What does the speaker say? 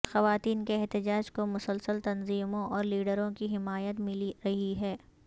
خواتین کے احتجاج کو مسلسل تنظیموں اور لیڈروں کی حمایت ملی رہی ہے